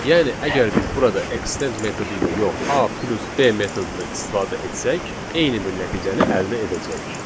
Yəni əgər biz burada extend metodu ilə yox, A plus B metodundan istifadə etsək, eyni bir nəticəni əldə edəcəyik.